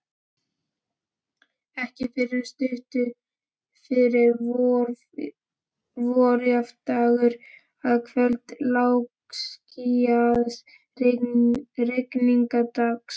Ekki fyrr en stuttu fyrir vorjafndægur, að kvöldi lágskýjaðs rigningardags.